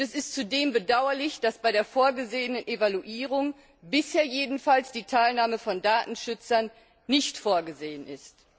Und es ist zudem bedauerlich, dass bei der vorgesehenen Evaluierung bisher jedenfalls die Teilnahme von Datenschützern nicht vorgesehen ist.